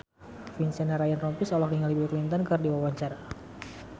Vincent Ryan Rompies olohok ningali Bill Clinton keur diwawancara